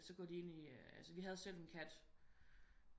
Så går de ind i altså vi havde selv en kat